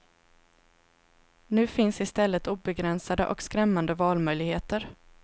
Nu finns i stället obegränsade och skrämmande valmöjligheter.